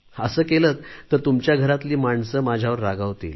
असे केलेत तर तुमच्या घरातली माणसे माझ्यावर रागावतील